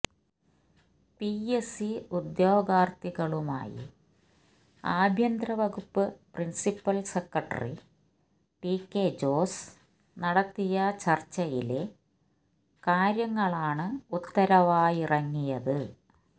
PSC ഉദ്യോഗാർത്ഥികളുമായി ആഭ്യന്തരവകുപ്പ് principal secretary TK Jose നടത്തിയ ചർച്ചയിലെ കാര്യങ്ങളാണ് ഉത്തരവായിറങ്ങിയത്